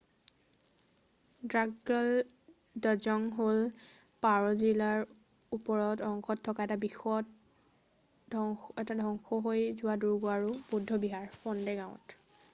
দ্ৰাকগ্যাল ড্জং হ’ল পাৰʼ জিলাৰ ওপৰৰ অংশত থকা এটা ধ্বংস হৈ যোৱা দুৰ্গ আৰু বৌদ্ধ বিহাৰ ফণ্ডে গাঁৱত।